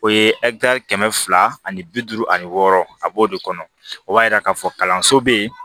O ye kɛmɛ fila ani bi duuru ani wɔɔrɔ a b'o de kɔnɔ o b'a jira k'a fɔ kalanso bɛ yen